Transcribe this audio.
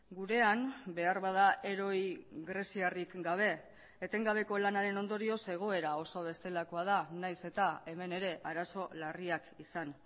gurean beharbada heroi greziarrik gabe etengabeko lanaren ondorioz egoera oso bestelakoa da nahiz eta hemen ere arazo larriak izan